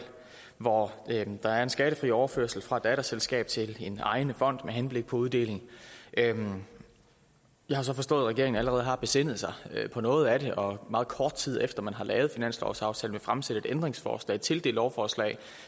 hvor der er en skattefri overførsel fra datterselskab til en ejende fond med henblik på uddeling jeg har så forstået at regeringen allerede har besindet sig på noget af det og meget kort tid efter man har lavet finanslovsaftalen fremsætte et ændringsforslag til det lovforslag